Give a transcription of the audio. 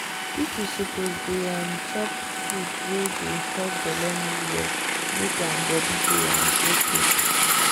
people suppose dey um chop food wey dey help belle move well make um body dey um okay.